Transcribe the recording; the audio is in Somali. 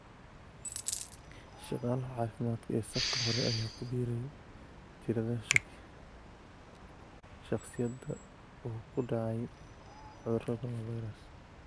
Shaqaalaha caafimaadka ee safka hore ayaa ku biiray tirada shakhsiyaadka uu ku dhacay cudurka 'coronavirus'.